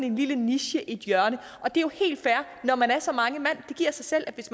en lille niche i et hjørne og det er jo helt fair når man er så mange mand det giver sig selv at hvis